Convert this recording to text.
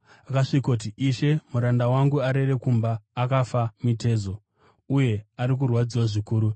Akasvikoti, “Ishe, muranda wangu arere kumba, akafa mitezo, uye ari kurwadziwa zvikuru.”